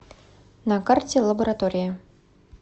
на карте лаборатория